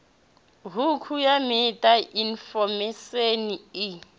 hukhu ya meta infomesheni i